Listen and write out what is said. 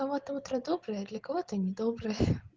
у кого-то утро доброе а для кого-то не доброе